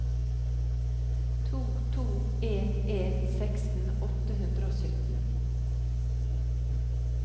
to to en en seksten åtte hundre og sytten